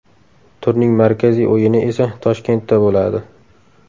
Turning markaziy o‘yini esa Toshkentda bo‘ladi.